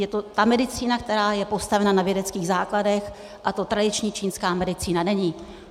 Je to ta medicína, která je postavena na vědeckých základech, a to tradiční čínská medicína není.